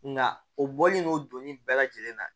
Nka o bɔlen no doni bɛɛ lajɛlen na